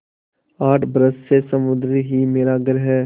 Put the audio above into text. आठ बरस से समुद्र ही मेरा घर है